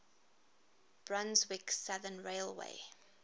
brunswick southern railway